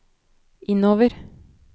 innover